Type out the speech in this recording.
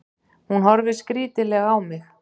Hún horfir skrítilega á mig.